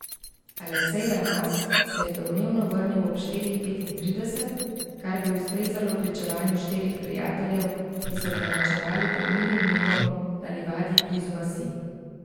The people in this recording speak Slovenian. Aleksej Ramaz se je domnevno vrnil ob štirih petintrideset, kar bi ustrezalo pričevanju štirih prijateljev, ki so prenočevali pod milim nebom na livadi blizu vasi.